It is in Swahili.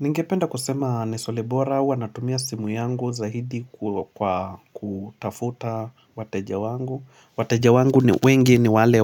Ningependa kusema ni swali bora uwa natumia simu yangu zaidi kwa kutafuta wateja wangu. Wateja wangu ni wengi ni wale